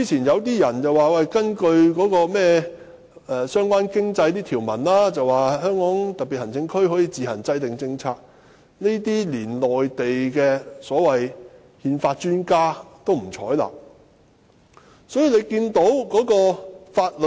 有些人指根據相關的經濟條文，特區可以自行制訂政策，但連內地的憲法專家也不採納這種說法。